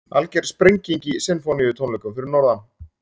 Alger sprenging í Sinfóníutónleikum fyrir norðan